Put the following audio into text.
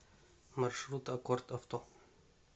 маршрут аккорд авто